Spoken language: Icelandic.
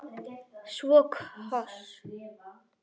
Svo koss.